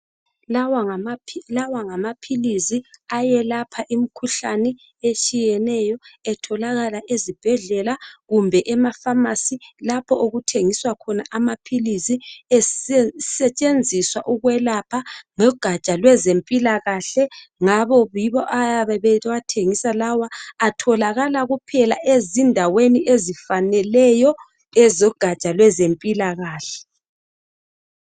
Lawa ngamaphilisi ayelapha imkhuhlane etshiyeneyo. Atholakala ezibhedlela kumbe emafamasi lapho okuthengiswa khona amaphilisi esetshenziswa ukwelapha ngogatsha lwezempilakahle. Ngakho yibo abayabe bewathengisa lawa atholakala kuphela endaweni ezifaneleyo ezogatsha lwezempilakahle.